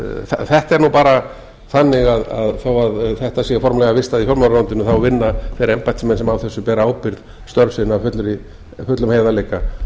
þetta er nú bara þannig að þó að þetta sé formlega vistað í fjármálaráðuneytinu vinna þeir embættismenn sem á þessu bera ábyrgð störf sín af fullum heiðarleika